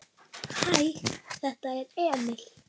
Hæ, þetta er Emil.